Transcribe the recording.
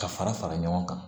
Ka fara fara ɲɔgɔn kan